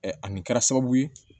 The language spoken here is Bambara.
ani kɛra sababu ye